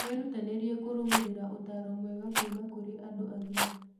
Wĩrutanĩrie kũrũmĩrĩra ũtaaro mwega kuuma kurĩ andũ agima.